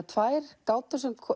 tvær gátur sem